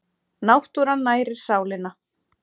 Náttúran nærir sálina